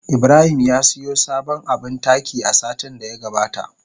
Ibrahim ya siyo sabon abin taki a satin da ya gabata.